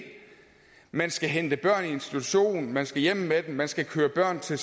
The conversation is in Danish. man skal hente børn i institution man skal hjem med dem man skal køre børn til